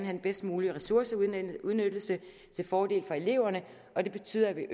den bedst mulige ressourceudnyttelse til fordel for eleverne og det betyder at